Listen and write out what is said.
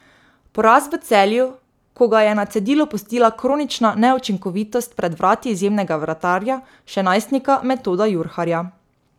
Poraz v Celju, ko ga je na cedilu pustila kronična neučinkovitost pred vrati izjemnega vratarja, še najstnika Metoda Jurharja.